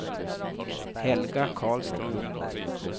Helga Karlström